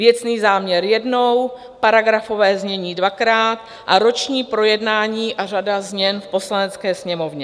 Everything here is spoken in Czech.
Věcný záměr jednou, paragrafové znění dvakrát a roční projednání a řada změn v Poslanecké sněmovně.